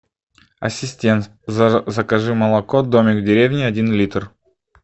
ассистент закажи молоко домик в деревне один литр